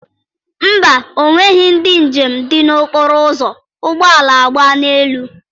Mba, ọ nweghị ndị njem dị n'okpuru ụzọ ụgbọala agba n'elu.